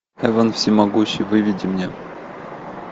эван всемогущий выведи мне